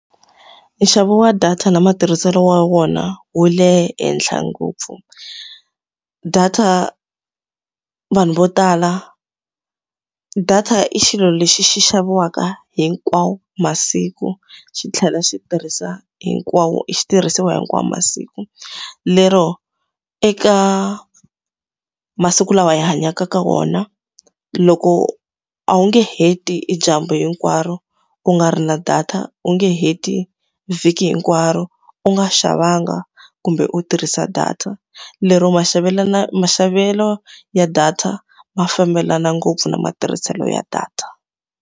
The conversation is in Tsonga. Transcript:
Nxavo wa data na matirhiselo wa wona wu le henhla ngopfu. Data vanhu vo tala data i xilo lexi xi xaviwaka hinkwawo masiku, xi tlhela xi tirhisa hinkwawo xi tirhisiwa hinkwawu masiku. Lero eka masiku lawa hi hanyaka ka wona, loko a wu nge heti e dyambu hinkwaro u nga ri na data, u nge heti vhiki hinkwaro u nga xavanga kumbe u tirhisa data. Lero maxavelo maxavelo ya data ma fambelana ngopfu na matirhiselo ya data.